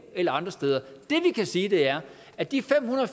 eller andre steder det vi kan sige er at de fem hundrede